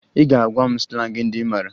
Ị ga-agwa m slangị ndị ị mara